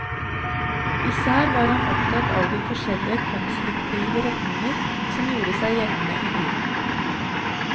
Især var han opptatt av de forskjellige konstruktive retninger som gjorde seg gjeldende i tiden.